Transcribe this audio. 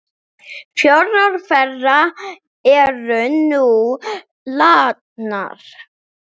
Fjórar þeirra eru nú látnar.